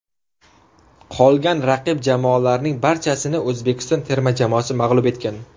Qolgan raqib jamoalarning barchasini O‘zbekiston termasi mag‘lub etgan.